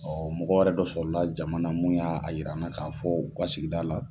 mɔgɔ wɛrɛ dɔ sɔrɔ la jama na mun y'a a yir'an na k'a fɔ o ka sigida la